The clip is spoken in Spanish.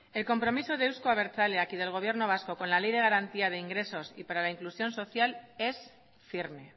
el compromiso de euzko abertzaleak y del gobierno vasco con la ley de garantía de ingresos y para la inclusión social es firme